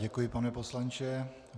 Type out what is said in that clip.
Děkuji, pane poslanče.